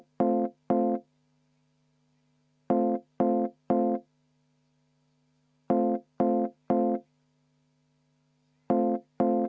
V a h e a e g